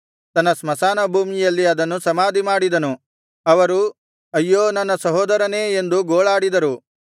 ತನ್ನ ಸ್ಮಶಾನಭೂಮಿಯಲ್ಲಿ ಅದನ್ನು ಸಮಾಧಿಮಾಡಿದನು ಅವರು ಅಯ್ಯೋ ನನ್ನ ಸಹೋದರನೇ ಎಂದು ಗೋಳಾಡಿದರು